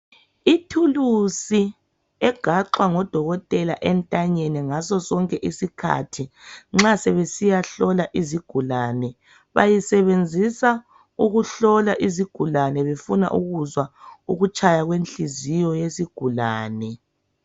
Ithulusi egaxwa ngo Dokotela entanyeni ngaso sonke isikhathi nxa sebesiya hlola izigulane. Bayisebenzisa ukuhlola izigulane befuna ukuzwa ukutshaya kwenhliziyo yesigulane.